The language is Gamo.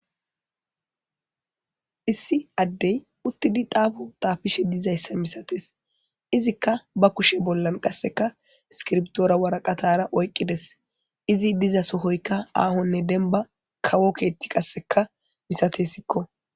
issi addey uttidi daafo taafishe dizayssa misates izikka ba kushe bollan qasseka skirbtoora waraqatara oyqqides izi diza sohoyka aahonne denba kawo keetti qasseka misate sikko